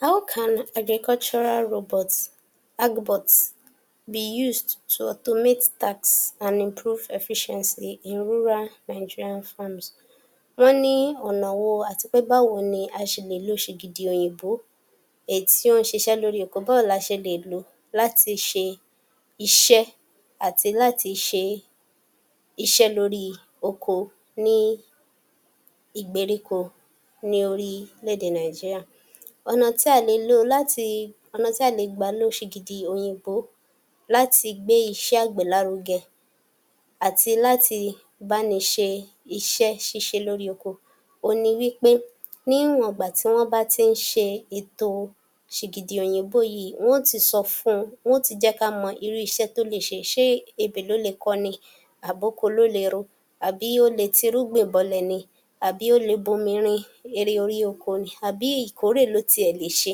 How can agricultural robots, agro-bots, be used to meet tasks and improve efficiency in rural Nigerian farms? wọ́n ní ọ̀nà wo àti pé báwo ni a ṣe lè lo ṣìgìdì òyìnbó, èyí tí ó ń ṣiṣẹ́ lórí oko, báwo la ṣe lè lò ó láti ṣe iṣẹ́ àti láti ṣe iṣẹ́ lórí oko, ní ìgbèríko ní orílẹ̀-èdè Nàìjíráì. Ọ̀nà tí a le lò láti, ọ̀nà tí a lè gbà lo ṣìgìdì òyìnbó láti gbé iṣẹ́ àgbẹ̀ lárugẹ àti láti bá ni ṣe iṣẹ́ ṣíṣe lórí oko, òhun ni wípé níwọ̀n ìgbà tí wọ́n bá ti ń ṣe ètò ṣìgìdì òyìnbó yìí, wón yóò ti sọ fún un, wọn ó ti jẹ́ ká mọ irú iṣẹ́ tó lè ṣe. Ṣé ebè ló lè kọ ni, àbí oko ló lè ro, àbí ó lè tirúgbìn bọlẹ̀ ni, àbí ó lè bomi rin erè erí oko ni, àbí ìkórè ló tiẹ̀ lè ṣe,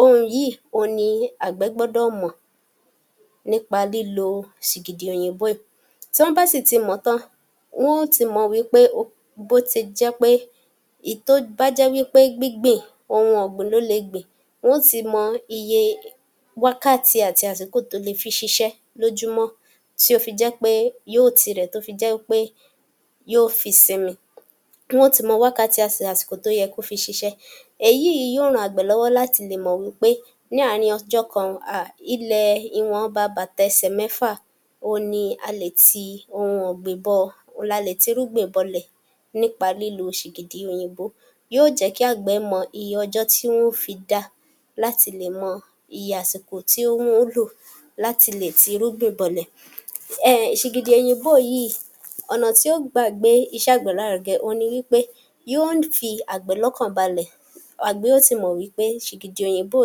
ohun yìí òhun ni àgbẹ̀ gbọ́dọ̀ mọ̀ nípa lílo ṣìgìdì òyìnbó yìí. Tán bá sì ti mọ̀ ọ́n tán, wọn ó ti mọ̀ wípe um bó ti jẹ́ pé, èyí tó bá jẹ́ wípé gbígbin ohun ọ̀gbìn ló le gbìn, wọn ó ti mọ iye wákàtí àti àsìkò tó lè fi ṣiṣẹ́ lójúmọ́, tó fi jẹ́ pé yóò ti rẹ̀ ẹ́, tó fi jẹ́ pe yóò fi sinmi. Wọn ó ti mọ wákàtí àti àsìkò tó yẹ kó fi ṣiṣẹ́, èyí yóò ran àgbẹ̀ lọ́wọ́ láti lè mọ̀ wípé ní àárín ọjọ́ kan ó um, ilẹ̀ ìwọ̀nba bàtà ẹsẹ̀ mẹ́fà, òhun ni a le ti ohun ọ̀gbìn bọ̀, la lè tirúgbìn bọlẹ̀ nípa lílo ṣìgìdì òyìnbó, yóò jẹ́ kí àgbẹ̀ mọ iye ọjọ́ tí wọn yóò fi dá, láti lè mọ iye àsìkò tí òun ó lò láti lè tirúgbìn bọlẹ̀ um ṣìgìdì òyìnbó yìí, ọ̀nà tí ó gbà gbé iṣẹ́ àgbẹ̀ lárugẹ, òhun ni wípé, yóò fi àgbẹ̀ lókàn balẹ̀, àgbẹ̀ ó ti mọ̀ wípé ṣìgìdì òyìnbó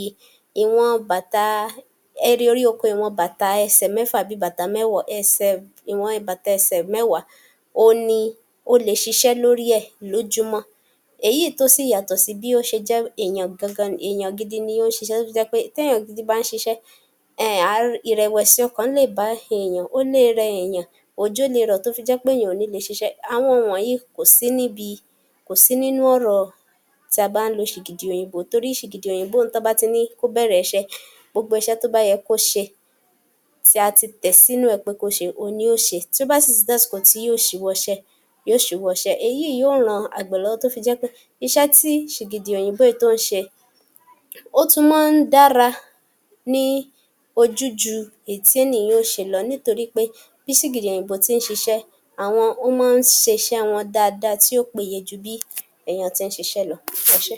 yìí ìwọn bàtà, erí orí oko, ìwọn bàtà ẹsẹ̀ mẹ́fà, tàbí mẹ́wàá, ẹsẹ̀, ìwọn ibàtà ẹsẹ̀ mẹ́wàá òhun ni ó le ṣiṣẹ́ lórí è lójúmọ́, èyí tó sì yàtọ̀ sí bí ó ṣe jẹ́ èèyàn gan gan, èèyàn gidi ni ó ṣiṣẹ́ tó fi jẹ́ pé téèyàn gidi bá ń ṣiṣẹ́, um ìrẹ̀wẹ̀sì ọkàn lè bá èèyàn, ó lè rẹ èèyàn, òjò le rọ̀ tó fi jẹ́ pé èèyàn ò ní í lè ṣiṣẹ́. Àwọn ohun wọ̀nyí kò sí níbi, kò sí nínú ọ̀rọ̀ tá a bá ń lo ṣìgìdì òyìnbó torí ṣìgìdì òyìnbó un, tán bá ti ní kó bẹ̀rẹ̀ iṣẹ́, gbogbo iṣẹ́ tó bá yẹ kó ṣe, tí a ti tẹ̀ sínú ẹ̀ pé kó ṣe, òhun ni yóò ṣe, tó bá sì ti tó àsìkò tí yóò ṣíwọ́ iṣẹ́, yóò ṣíwọ́ iṣẹ́, èyí yóò ran àgbẹ̀ lọ́wọ́ tó fi jẹ́ pé, iṣẹ́ tí ṣìgìdì òyìnbó yìí tó ń ṣe,o ́tún máa ń dára ní ojú ju èyí tí ènìyàn ó ṣe lọ, nítorí pé bí ṣìgìdì òyìnbó tí ń ṣiṣẹ́, àwọn, ó máa ń ṣe iṣẹ́ wọn dáadáa, tí ó péye ju bí èèyàn ti ń ṣiṣẹ́ lọ. Ẹ ṣé.